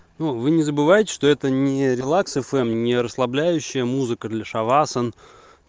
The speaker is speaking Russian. ну вы не забывайте что это не релакс эфм не расслабляющая музыка для шавасан